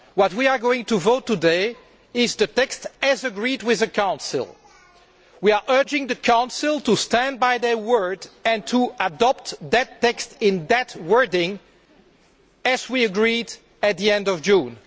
What we are going to vote on today is the text as agreed with the Council. We are urging the Council to stand by their word and to adopt that text, with the wording we agreed at the end of June.